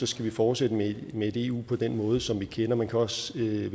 skal vi fortsætte med et eu på den måde som vi kender man kan også vælge